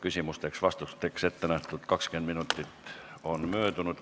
Küsimusteks-vastusteks ettenähtud 20 minutit on möödunud.